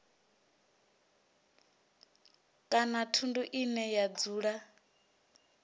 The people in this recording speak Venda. kana thundu ine ya dzula